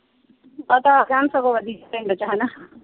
ਆ ਜਾਣ ਸਗੋਂ ਪਿੰਡ ਚ ਵਧੀਆ ਹਣਾ।